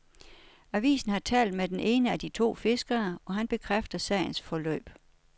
Avisen har talt med den ene af de to fiskere, og han bekræfter sagens forløb.